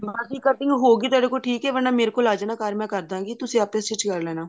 ਹਾਂਜੀ cutting ਹੋਗੀ ਤੁਹਾਡੇ ਕੋਲੋ ਠੀਕ ਹੈ ਵਰਨਾ ਮੇਰੇ ਕੋਲ ਆ ਜਾਣਾ ਘਰ ਮੈਂ ਕਰਦਾਂਗੀ ਤੁਸੀਂ ਆਪੇ stitch ਕਰ ਲੈਣਾ